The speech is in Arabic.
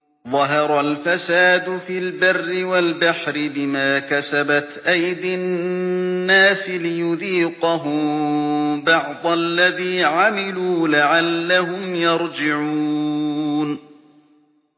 ظَهَرَ الْفَسَادُ فِي الْبَرِّ وَالْبَحْرِ بِمَا كَسَبَتْ أَيْدِي النَّاسِ لِيُذِيقَهُم بَعْضَ الَّذِي عَمِلُوا لَعَلَّهُمْ يَرْجِعُونَ